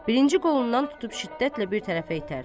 Birinci qolundan tutub şiddətlə bir tərəfə itər.